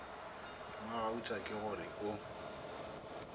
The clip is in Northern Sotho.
mmagauta ke go re o